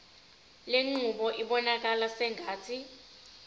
lenqubo ibonakala sengathi